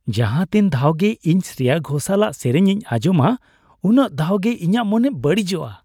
ᱡᱟᱦᱟᱸᱛᱤᱱ ᱫᱷᱟᱣᱜᱮ ᱤᱧ ᱥᱨᱮᱭᱟ ᱜᱷᱳᱥᱟᱞᱟᱜ ᱥᱮᱹᱨᱮᱹᱧ ᱤᱧ ᱟᱧᱡᱚᱢᱟ ᱩᱱᱟᱹᱜ ᱫᱷᱟᱣ ᱜᱮ ᱤᱧᱟᱹᱜ ᱢᱚᱱᱮ ᱵᱟᱹᱲᱤᱡᱚᱜᱼᱟ ᱾